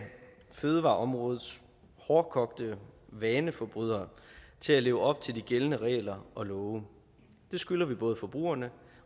fødevareområdets hårdkogte vaneforbrydere til at leve op til de gældende regler og love det skylder vi både forbrugerne